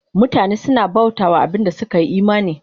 Mutane suna bauta wa abin da suka yi imani